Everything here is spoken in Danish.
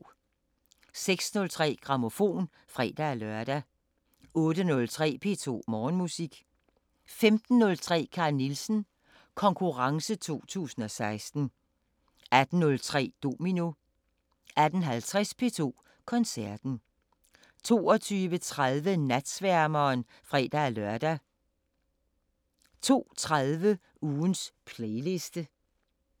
06:03: Grammofon (fre-lør) 08:03: P2 Morgenmusik 15:03: Carl Nielsen Konkurrence 2016 18:03: Domino 18:50: P2 Koncerten 22:30: Natsværmeren (fre-lør) 02:30: Ugens playliste